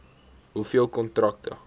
hoeveel kontrakte